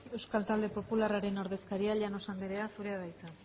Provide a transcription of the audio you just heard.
euskal talde popularraren ordezkaria llanos anderea zurea da hitza